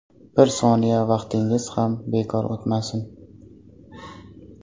Bir soniya vaqtingiz ham bekor o‘tmasin!